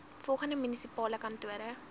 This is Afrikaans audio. volgende munisipale kantore